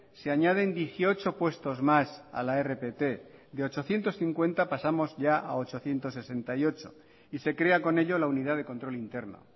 se añaden dieciocho puestos más a la rpt de ochocientos cincuenta pasamos ya a ochocientos sesenta y ocho y se crea con ello la unidad de control interno